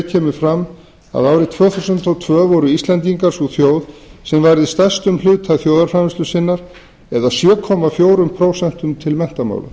kemur fram að árið tvö þúsund og tvö voru íslendingar sú þjóð sem varði stærstum hluta þjóðarframleiðslu sinnar eða sjö komma fjögur prósent til menntamála